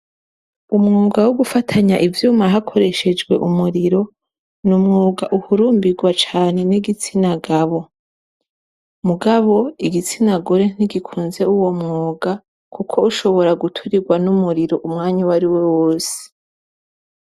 Umwuga wo gufatanya ivyuma hakoreshejwe umuriro, ni umwuga uhurumbirwa cane n' igitsina gabo. Mugabo igitsina gore ntigikunze uwo mwuga, kuko ushobora guturirwa n' umuriro umwanya uwariwo wose.